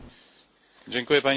Pani Przewodnicząca!